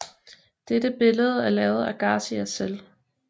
Dette billede er lavet af Garcia selv